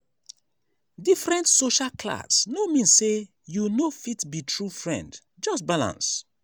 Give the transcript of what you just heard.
different social class no mean say you no fit be true friend just balance.